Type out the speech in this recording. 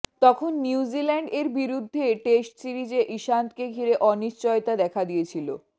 তখন New Zealand এর বিরুদ্ধে টেস্ট সিরিজে ইশান্ত কে ঘিরে অনিশ্চয়তা দেখা দিয়েছিল